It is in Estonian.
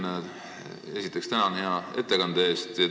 Hea Sven, esiteks, tänan hea ettekande eest!